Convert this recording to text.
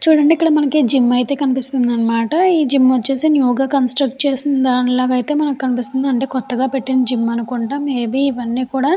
మనకి జిమ్ అయితే కనిపిస్తుంది అన్నమాట. ఈ జిమ్ వచ్చేసి న్యూ గా కన్స్స్ట్రక్ చేసిన దాని లాగా అయితే కనిపిస్తుంది. కొత్తగా పెట్టిన జిమ్ అనుకుంటా. మే బి ఇవన్నీ కూడా--